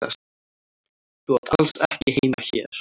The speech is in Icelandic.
Þú átt alls ekki heima hér.